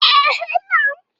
Ba zan saya ba.